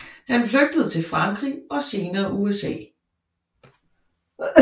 Han flygtede til Frankrig og senere USA